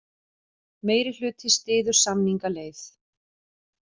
Meirihluti styður samningaleið